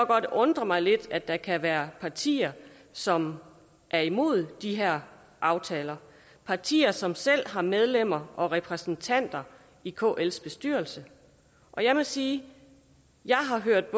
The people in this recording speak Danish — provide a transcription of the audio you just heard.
godt undre mig lidt at der kan være partier som er imod de her aftaler partier som selv har medlemmer og repræsentanter i kls bestyrelse jeg må sige at jeg har hørt